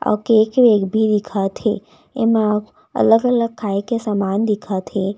आउ केक -वेक भी दिखत है इमा अलग -अलग खाये के सामान दिखत हे।